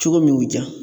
Cogo min y'u diya